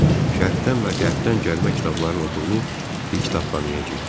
Şərqdən və Qərbdən gəlmə kitablarıla dolu bir kitabxanaya girdik.